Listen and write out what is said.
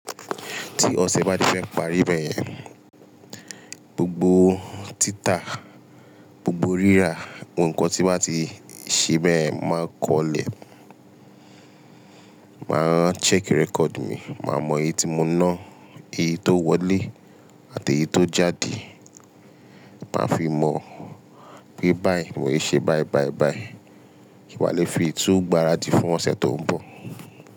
Tí ọ̀sẹ̀ bá ti fẹ́ parí bẹ́yẹn, gbogbo títà, gbogbo rírà, ohun kan tí bá ti ṣe bẹ̀yen mo máa kọlẹ̀. Máa rán check record mi, màá mọ eyi tí mo ná, eyi tó wọlé àti eyi tó jáde. Màá fi mọ̀ pé báyìí mò ṣe báì báì báì kí wá lè fi tún gbáradì fún ọ̀sẹ̀ tó ń bọ̀